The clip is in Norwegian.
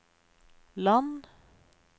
land